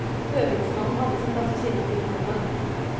Høvedsmannen hadde sin plass ved siden av brudgommen.